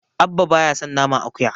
Abba baya son naman akuya.